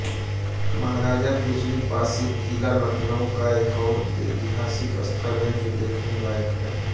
महाराजा बिजली पासी किला लखनऊ का एक और ऐतिहासिक स्थल है जो देखने लायक है